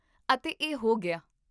ਅਤੇ ਇਹ ਹੋ ਗਿਆ ?